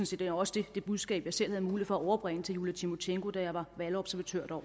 set også det budskab som jeg selv havde mulighed for at overbringe til julia timosjenko da jeg var valgobservatør